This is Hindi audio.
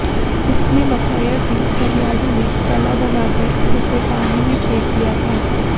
उसने बताया कि सरयाडू ने गला दबाकर उसे पानी में फेक दिया था